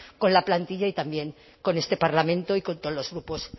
con la plantilla y también con este parlamento y con todos los grupos